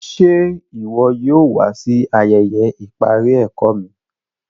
Ṣè iwọ yóò wà sí ayéyé iparí ẹ̀kọ mi?